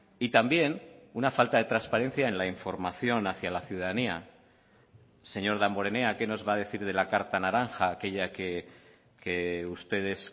y también una falta de transparencia en la información hacia la ciudadanía señor damborenea qué nos va a decir de la carta naranja aquella que ustedes